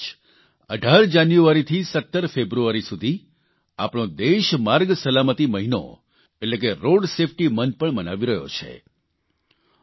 આ મહિને જ 18 જાન્યુઆરીથી 17 ફેબ્રુઆરી સુધી આપણો દેશ માર્ગ સલામતિ મહિનો એટલે કે રોડ સેફટી મોન્થ પણ મનાવી રહ્યો છે